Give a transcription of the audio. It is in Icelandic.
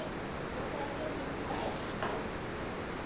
Já, það er mjög indælt.